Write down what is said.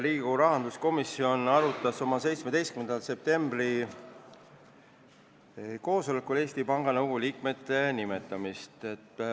Riigikogu rahanduskomisjon arutas oma 17. septembri koosolekul Eesti Panga Nõukogu liikmete nimetamist.